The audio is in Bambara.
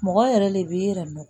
Mɔgɔ yɛrɛ le bɛ yɛrɛ nɔ